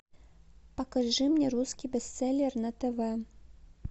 покажи мне русский бестселлер на тв